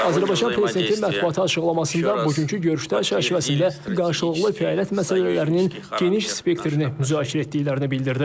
Azərbaycan Prezidenti mətbuata açıqlamasında bugünkü görüşdə çərçivəsində qarşılıqlı fəaliyyət məsələlərinin geniş spektrini müzakirə etdiklərini bildirdi.